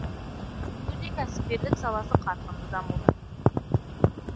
өңірде кәсіпкерлік саласы қарқынды дамуда